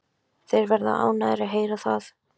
Þeir verða ánægðir að heyra það.